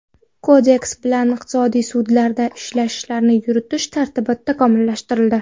Kodeks bilan iqtisodiy sudlarda ishlarni yuritish tartibi takomillashtirildi.